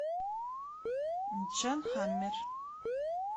джан хаммер